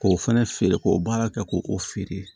K'o fɛnɛ feere k'o baara kɛ k'o o feere